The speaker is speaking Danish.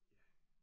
Ja